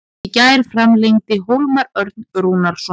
Í gær framlengdi Hólmar Örn Rúnarsson.